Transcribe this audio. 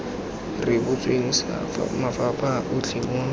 rebotsweng sa mafapha otlhe mo